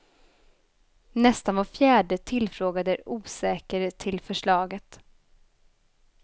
Nästan var fjärde tillfrågad är osäker till förslaget.